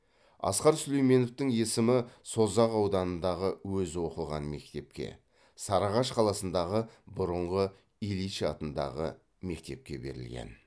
асқар сүлейменовтің есімі созақ ауданындағы өзі оқыған мектепке сарыағаш қаласындағы бұрынғы ильич атындағы мектепке берілген